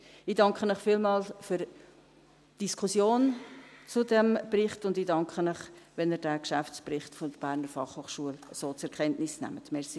Ich danke Ihnen vielmals für die Diskussion zu diesem Bericht, und ich danke Ihnen, wenn Sie den Geschäftsbericht der BFH so zur Kenntnis nehmen.